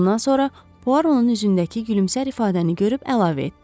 Bundan sonra Puaro onun üzündəki gülümsər ifadəni görüp əlavə etdi.